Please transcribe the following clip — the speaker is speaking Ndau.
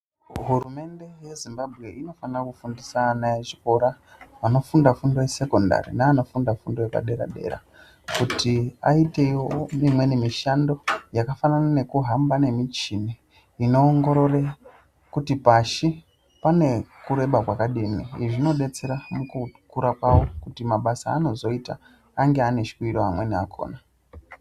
Hurumende yeZimbabwe inofanira kufundisa ana echikora anofunda fundo yesekondari neanofunda fundo yedera-dera kuti aitewo imweni mishando yakafanana nekuhamba nemichini inoongorore kuti pashi pane kureba kwakadini. Izvi zvinodetsera mukukura kwavo kuti mabasa anozoita ange ane shwiro amweni akhona.